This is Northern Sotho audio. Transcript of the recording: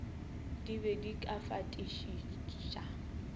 di be di ka fatišiša